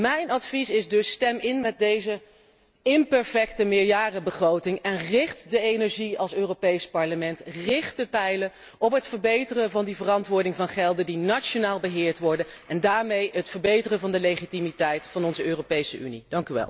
Mijn advies is dus stem in met deze imperfecte meerjarenbegroting en richt als Europees Parlement de energie, de pijlen op het verbeteren van die verantwoording van gelden die nationaal beheerd worden, en daarmee op het verbeteren van de legitimiteit van onze Europese Unie.